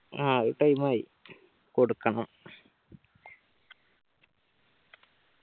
ആ അത് time ആയി കൊടുക്കണം